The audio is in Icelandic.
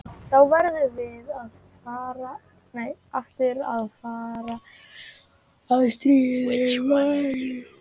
Þá verðum við aftur að fara að stríða Mæju.